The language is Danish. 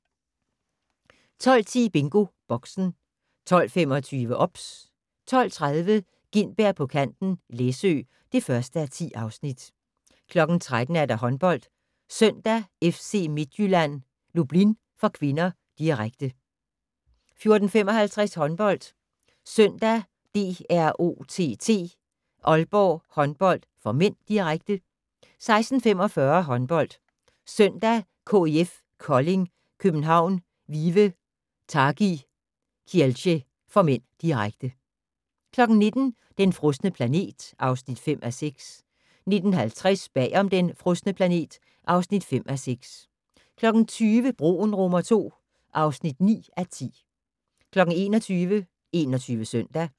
12:10: BingoBoxen 12:25: OBS 12:30: Gintberg på kanten - Læsø (1:10) 13:00: HåndboldSøndag: FC Midtjylland-Lublin (k), direkte 14:55: HåndboldSøndag: DROTT-Aalborg Håndbold (m), direkte 16:45: HåndboldSøndag: KIF Kolding København-Vive Targi Kielce (m), direkte 19:00: Den frosne planet (5:6) 19:50: Bag om "Den frosne planet" (5:6) 20:00: Broen II (9:10) 21:00: 21 Søndag